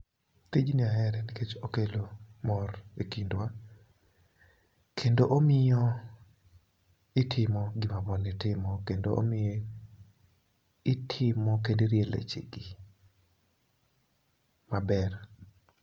Tijni ahere nikech okelo mor e kindwa kendo omiyo itimo gima ball ni timo kendo omiyo itimo kendo irie leche gi maber.